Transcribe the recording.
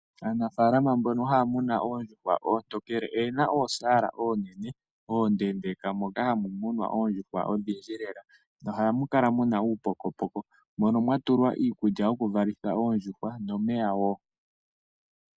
Aanafaalama mbono haya muna oondjuhwa oontokele oye na oosaala oonene oondendeka moka hamu munwa oondjuhwa odhindji lela nohamu kala muna uupokopoko mono mwa tulwa iikulya yoku valitha oondjuhwa nomeya wo.